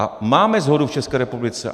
A máme shodu v České republice.